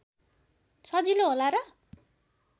सजिलो होला र